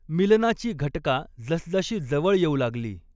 मिलनाची घटका जसजशी जवळ येऊ लागली